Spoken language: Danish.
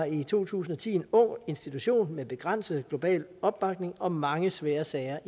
i to tusind og ti en ung institution med begrænset global opbakning og mange svære sager